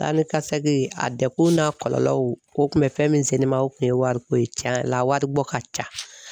Taa ni ka segin a dɛguna kɔlɔlɔw o kun bɛ fɛn min se ne ma o tun ye wariko ye tiɲɛ yɛrɛ la wari bɔ ka ca.